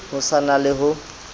ho sa na le ho